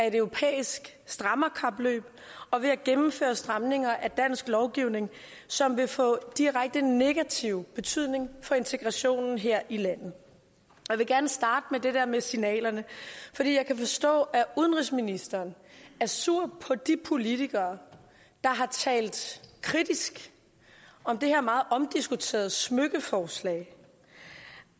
et europæisk strammerkapløb og ved at gennemføre stramninger af dansk lovgivning som vil få direkte negativ betydning for integrationen her i landet jeg vil gerne starte med det der med signalerne for jeg kan forstå at udenrigsministeren er sur på de politikere der har talt kritisk om det her meget omdiskuterede smykkeforslag